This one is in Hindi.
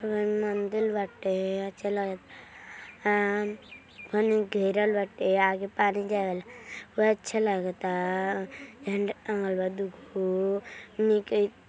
मंदील (मंदिर) बाटे अच्छा लागत आ घेरल बाटे आगे पानी जाए अच्छा लागता झण्डा टाँगल बा दुगो निके --